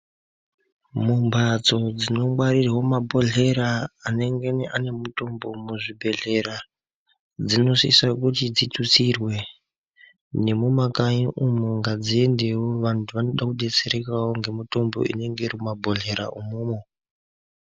Mumbatso dzinongwarirwa mabhodhleya anengene ane mutombo muzvibhedhlera dzinosisa kuti dzitutsirwe nemumakanyi umwu ngadziendewo vantu vanoda kudetserekawo ngemutombo inonga iri mumabhodhleya umomo.